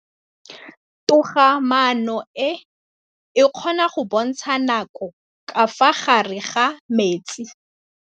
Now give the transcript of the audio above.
Toga-maanô e, e kgona go bontsha nakô ka fa gare ga metsi.